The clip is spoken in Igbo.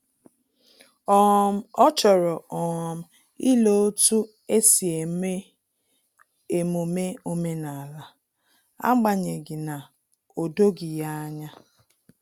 um Ọ chọrọ um ile otu esi eme emume omenala, agbanyeghi na o doghi ya anya